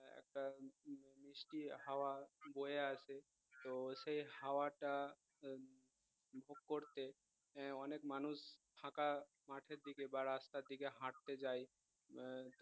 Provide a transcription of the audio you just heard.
মিষ্টি হাওয়া বয়ে আসে তো সে হওয়াটা আহ করতে আহ অনেক মানুষ ফাঁকা মাঠের দিকে বা রাস্তার দিকে হাটতে যায় আহ